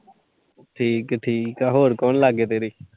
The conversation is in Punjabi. ਠੀਕ ਆ-ਠੀਕ ਆ। ਹੋਰ ਕੌਣ ਲਾਗੇ ਤੇਰੇ।